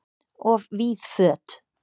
Of víð föt